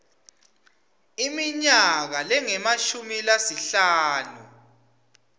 iminyaka lengemashumi lasihlanu